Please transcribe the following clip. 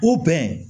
O bɛn